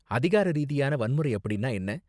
அதிகார ரீதியான வன்முறை அப்படின்னா என்ன?